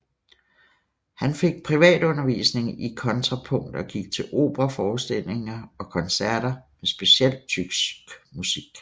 Han fik privatundervisning i kontrapunkt og gik til operaforestillinger og koncerter med specielt tysk musik